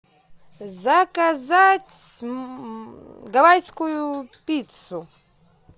заказать гавайскую пиццу